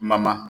Ma ma